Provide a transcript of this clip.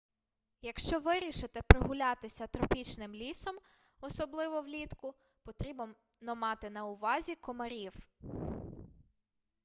якщо вирішите прогулятися тропічним лісом особливо влітку потрібно мати на увазі комарів